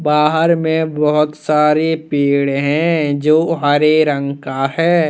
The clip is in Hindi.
बाहर में बहुत सारे पेड़ हैंजो हरे रंग का है।